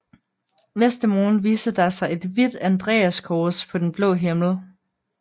Næste morgen viste der sig et hvidt andreaskors på den blå himmel